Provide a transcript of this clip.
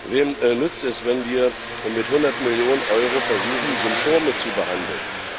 Wem nützt es, wenn wir mit 100 Millionen Euro versuchen Symptome zu behandeln?